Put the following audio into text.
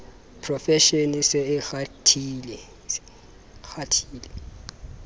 profeshene e se e kgathile